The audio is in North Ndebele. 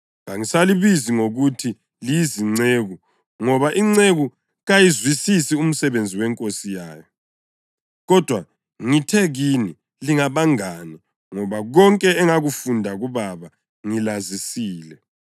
Kangisalibizi ngokuthi liyizinceku ngoba inceku kayiwazisisi umsebenzi wenkosi yayo. Kodwa ngithe kini lingabangane ngoba konke engakufunda kuBaba ngilazisile.